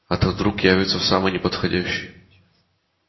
а то вдруг явятся в самый неподходящий